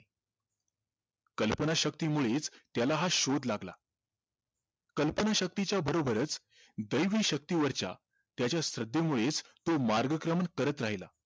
कल्पनाशक्तीमुळेच त्याला हा शोध लागला कल्पनाशक्तीच्या बरोबरच दैवी शक्तीवरच्या त्याच्या श्रद्धेमुळेच तो मार्गक्रमण करत राहिला